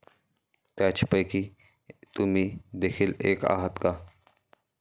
त्यापैकीच तुम्ही देखील एक आहात का?